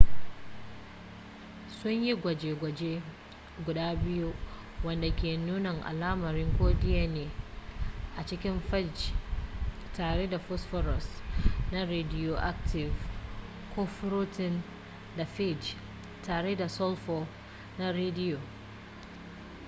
sunyi gwaje-gwaje guda biyu wanda ke nuna alamar ko dna a cikin fage tare da phosphorus na rediyoaktif ko furotin na phage tare da sulfur na rediyo